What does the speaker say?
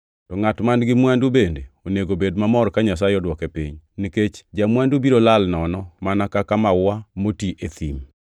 To ngʼat man-gi mwandu bende onego bed mamor ka Nyasaye odwoke piny, nikech ja-mwandu biro lal nono mana ka maua moti e thim.